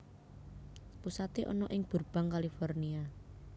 Pusaté ana ing Burbank California